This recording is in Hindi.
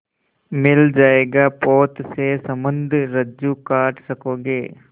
मिल जाएगा पोत से संबद्ध रज्जु काट सकोगे